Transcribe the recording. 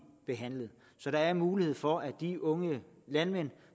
behandlet så der er mulighed for at de unge landmænd